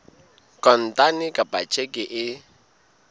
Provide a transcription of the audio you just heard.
kontane kapa ka tjheke e